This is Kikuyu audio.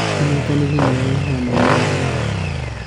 Ũnyitanĩri nĩ ũrehaga moimĩrĩro mega.